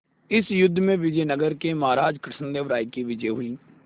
इस युद्ध में विजय नगर के महाराज कृष्णदेव राय की विजय हुई